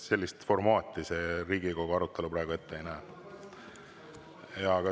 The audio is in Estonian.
Sellist formaati Riigikogu arutelu praegu ette ei näe.